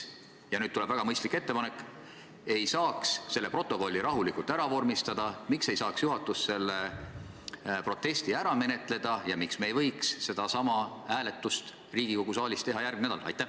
Ja nüüd tuleb väga mõistlik ettepanek: miks ei võiks seda protokolli rahulikult ära vormistada, miks ei võiks juhatus seda protesti menetleda ja miks ei võiks me sedasama hääletust Riigikogu saalis teha järgmisel nädalal?